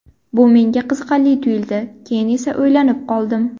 Bu menga qiziqarli tuyuldi, keyin esa o‘ylanib qoldim.